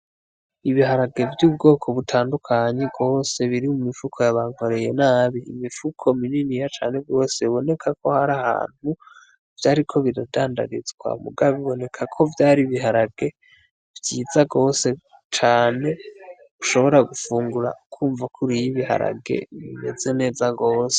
Ibiharage vy'ubwoko butandukanyi rwose biri mu mifuko yabankoreye nabi imipfuko minini ya cane rwose biboneka ko hari ahantu vyari ko bidadandarizwa mugabe boneka ko vyari biharage vyiza rwose cane ushobora gufungura kwumva kuru iyo ibiharage bimeza zimeza gose.